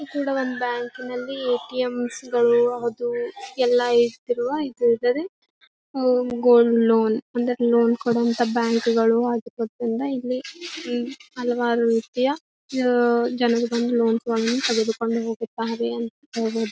ಈ ಕಡೆ ಒಂದ್ ಬ್ಯಾಂಕಿನಲ್ಲಿ ಎ.ಟಿ.ಎಂಸ್ಗಳು ಅದು ಎಲ್ಲಾ ಇದ್ರು ಇದು ಇದರೆ ಒಂದ್ ಗೋಲ್ಡ್ ಲೋನ್ ಒಂದಕಿನ ಒಂದ್ ಕೊಡೊ ಬ್ಯಾಂಕಗಳು ಇಲ್ಲಿ ಈ ಹಲವಾರು ರೀತಿಯ ಜನರು ಜನರು ಬಂದು ಲೋನ್ ತೊಕೊಂಡು ತೆಗೆದುಕೊಂಡು ಹೋಗುತ್ತಾರೆ ಹೇಳಬಹುದು .